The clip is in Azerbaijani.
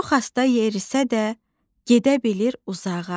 Çox asta yerisə də, gedə bilir uzağa.